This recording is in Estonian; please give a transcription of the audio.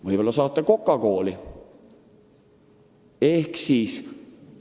Võib-olla saata ta kokakooli?